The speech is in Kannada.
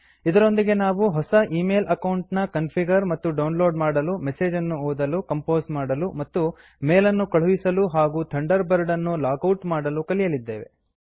ಇದರೊಂದಿಗೆ ನಾವು ಹೊಸ ಈ ಮೇಲ್ ಅಕೌಂಟ್ ನ ಕನ್ಫಿಗರ್ ಮತ್ತು ಡೌನ್ಲೋಡ್ ಮಾಡಲು ಮೆಸೇಜ್ ಅನ್ನು ಓದಲು ಕಂಪೋಸ್ ಮಾಡಲು ಮತ್ತು ಮೇಲ್ ಅನ್ನು ಕಳುಹಿಸಲು ಹಾಗೂ ಥಂಡರ್ ಬರ್ಡ್ ಅನ್ನು ಲಾಗ್ ಔಟ್ ಮಾಡಲು ಕಲಿಯಲಿದ್ದೇವೆ